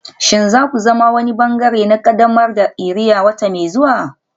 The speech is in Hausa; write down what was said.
Shin za ku zama wani ɓangare na ƙaddamar da iria wata mai zuwa?